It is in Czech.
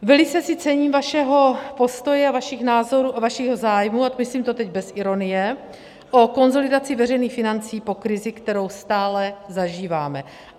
Velice si cením vašeho postoje a vašich názorů a vašeho zájmu, a myslím to teď bez ironie, o konsolidaci veřejných financí po krizi, kterou stále zažíváme.